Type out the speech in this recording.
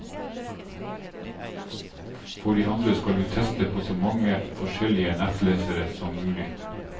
For det andre skal du teste på så mange forskjellige nettlesere som mulig.